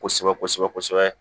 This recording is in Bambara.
Kosɛbɛ kosɛbɛ kosɛbɛ kosɛbɛ